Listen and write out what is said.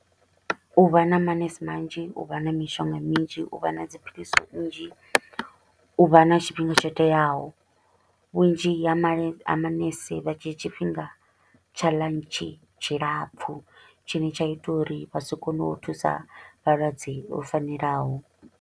U vha na manese manzhi, u vha na mishonga minzhi, u vha na dzi philisi nnzhi, u vha na tshifhinga tsho teaho. Vhunzhi ha male manese vha dzhia tshifhinga tsha lunch tshilapfu tshine tsha ita uri vha si kone u thusa vhalwadze vho fanelaho.